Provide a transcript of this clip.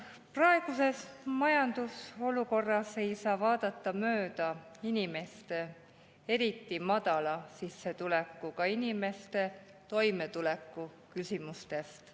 Praeguses majandusolukorras ei saa vaadata mööda inimeste, eriti madala sissetulekuga inimeste toimetuleku küsimustest.